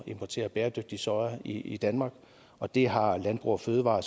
importere bæredygtig soja i danmark og det har landbrug fødevarer